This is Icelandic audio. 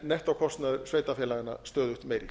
nettókostnaður sveitarfélaganna stöðugt meiri